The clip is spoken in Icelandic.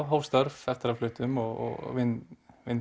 hóf störf eftir að við fluttum og vinn